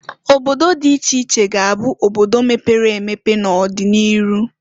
Obodo dị iche iche ga- abụ obodo mepere emepe n'odị n'iru.